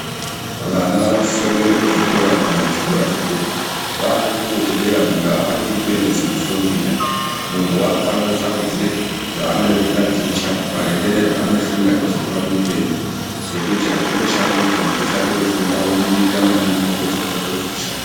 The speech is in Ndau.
Vana vanosisa kuenda kuzvikora kuguma kuchikora chedera vakuchikora chedera muntu hafaniri kundoita zvimufundira. Muntu vakufane kusarudze zvaanode kutaticha maringe nezvaanoshuvira kuzova muupenyu. Nekuti hazvindoshandi kuti muntu voshande kufunda vobudirira maningi vapedza votadza kuzozvishandira.